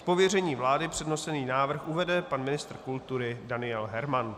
Z pověření vlády přednesený návrh uvede pan ministr kultury Daniel Herman.